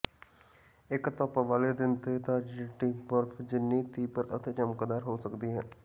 ਇੱਕ ਧੁੱਪ ਵਾਲੇ ਦਿਨ ਤੇ ਤਾਜ਼ਾ ਚਿੱਟੀ ਬਰਫ਼ ਜਿੰਨੀ ਤੀਬਰ ਅਤੇ ਚਮਕਦਾਰ ਹੋ ਸਕਦੀ ਹੈ